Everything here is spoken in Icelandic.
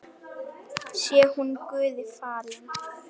Sé hún Guði falin.